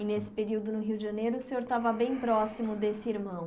E nesse período no Rio de Janeiro, o senhor estava bem próximo desse irmão.